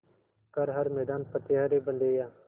कर हर मैदान फ़तेह रे बंदेया